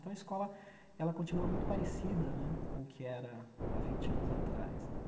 Então a escola, ela continua muito parecida né com o que era há vinte anos atrás né.